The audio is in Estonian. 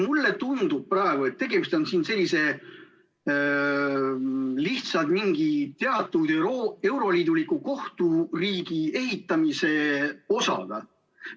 Mulle tundub praegu, et tegemist on siin lihtsalt mingi teatud euroliiduliku kohturiigi ehitamise osaga.